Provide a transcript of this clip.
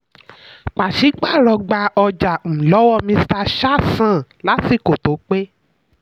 pàṣípààrọ̀: gba ọjà um lọwọ mr shah san lásìkò tó pé.